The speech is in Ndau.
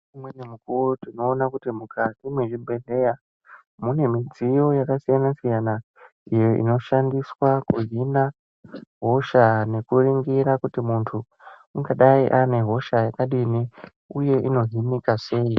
Umweni mukuwo tinoona kuti mukati mezvibhehleya mune midziyo yakasiyana siyana inoshandiswa kuhina hosha nekuningira kuti munthu unagadai ane hosha yakadinini uye inodzimika sei.